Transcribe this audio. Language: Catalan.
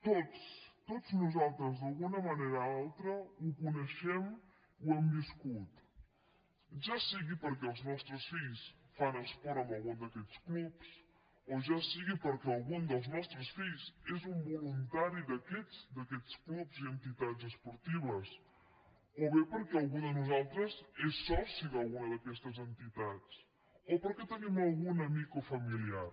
tots tots nosaltres d’alguna manera o altra ho coneixem ho hem viscut ja sigui perquè els nostres fills fan esport en algun d’aquests clubs o ja sigui perquè algun dels nostres fills és un voluntari d’aquests clubs i entitats esportives o bé perquè algú de nosaltres és soci d’alguna d’aquestes entitats o perquè hi tenim algun amic o familiar